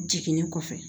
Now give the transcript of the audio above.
Jiginni kɔfɛ